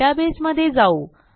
डेटाबेसमधे जाऊ